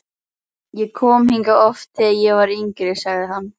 Ég kom hingað oft, þegar ég var yngri sagði hann.